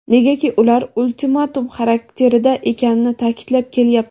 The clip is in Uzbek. negaki ular ultimatum xarakterida ekanini ta’kidlab kelyapti.